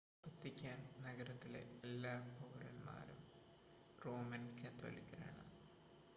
Vatican നഗരത്തിലെ എല്ലാ പൌരന്മാരും റോമൻ കത്തോലിക്കരാണ്